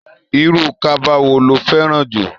Irú kaba wo lo fé rà?